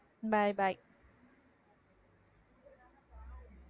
byebye